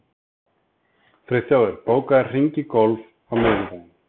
Friðþjófur, bókaðu hring í golf á miðvikudaginn.